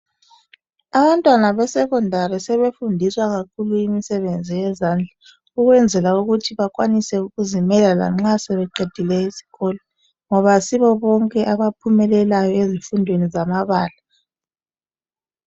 abantwana be secondary sebefundiswa kakhulu imisebenzi yezandla ukwenzela ukuthi bakwanise ukuzimela ngoba nxa sebeqedile isikolo ngoba ayisibobnke abaphumelelayo ezifundweni zamabala